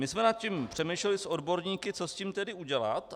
My jsme nad tím přemýšleli s odborníky, co s tím tedy udělat.